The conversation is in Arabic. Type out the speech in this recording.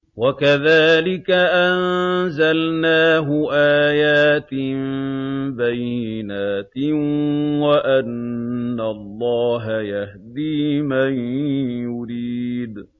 وَكَذَٰلِكَ أَنزَلْنَاهُ آيَاتٍ بَيِّنَاتٍ وَأَنَّ اللَّهَ يَهْدِي مَن يُرِيدُ